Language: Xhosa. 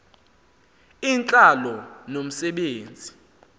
intlalo nomse benzi